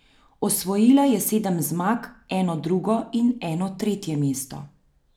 Osvojila je sedem zmag, eno drugo in eno tretje mesto.